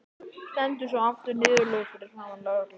Stendur svo aftur niðurlút fyrir framan lögregluna.